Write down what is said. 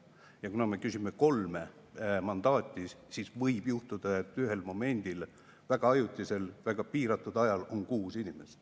Ja kuna me küsime kolme mandaati, siis võib juhtuda, et ühel momendil, väga ajutiselt, väga piiratud ajal on kuus inimest.